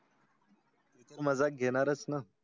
माझा घेणारच न.